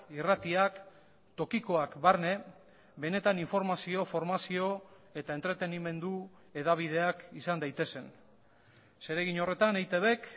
irratiak tokikoak barne benetan informazio formazio eta entretenimendu hedabideak izan daitezen zeregin horretan eitbk